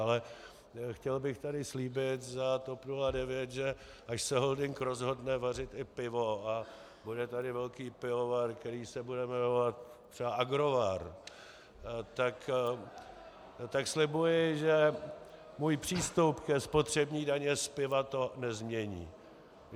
Ale chtěl bych tady slíbit za TOP 09, že až se holding rozhodne vařit i pivo a bude tady velký pivovar, který se bude jmenovat třeba Agrovar, tak slibuji, že můj přístup ke spotřební dani z piva to nezmění.